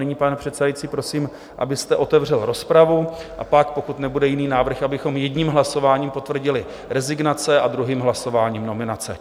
Nyní, pane předsedající, prosím, abyste otevřel rozpravu, a pak, pokud nebude jiný návrh, abychom jedním hlasováním potvrdili rezignace a druhým hlasováním nominace.